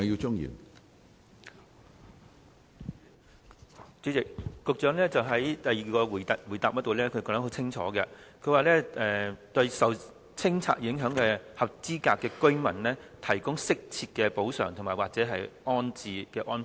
主席，局長在主體答覆的第二部分清楚指出，"為受清拆影響的合資格居民提供適切的補償或安置安排"。